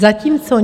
Zatímco